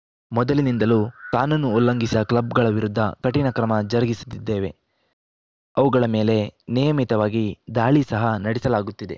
ಮೊದಲಿನಿಂದಲೂ ಕಾನೂನು ಉಲ್ಲಂಘಿಸ ಕ್ಲಬ್‌ಗಳ ವಿರುದ್ಧ ಕಠಿಣ ಕ್ರಮ ಜರುಗಿಸುತ್ತಿದ್ದೇವೆ ಅವುಗಳ ಮೇಲೆ ನಿಯಮಿತವಾಗಿ ದಾಳಿ ಸಹ ನಡೆಸಲಾಗುತ್ತಿದೆ